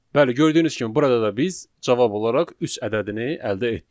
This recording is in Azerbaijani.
Bəli, gördüyünüz kimi burada da biz cavab olaraq üç ədədini əldə etdik.